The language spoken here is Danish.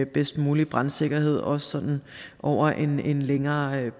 bedst mulige brandsikkerhed også sådan over en længere